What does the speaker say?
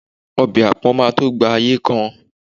obe apon ma to gba ayé kan